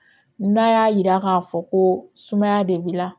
N'a y'a yira k'a fɔ ko sumaya de b'i la